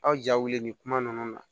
Aw ja wuli ni kuma nunnu na